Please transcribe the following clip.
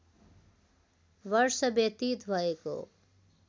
वर्ष व्यतीत भएको